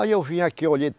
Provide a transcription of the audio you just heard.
Aí, eu vim aqui, eu olhei.